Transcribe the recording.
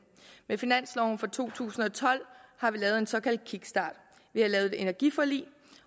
med finansloven for to tusind og tolv har vi lavet en såkaldt kickstart og et energiforlig